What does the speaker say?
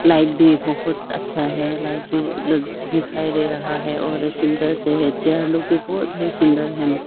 Light भी बहोत अच्छा है लाइट भी दिखाई दे रहा है और सुंदर से है चेयर लुक भी बहुत बहुत सुंदर है।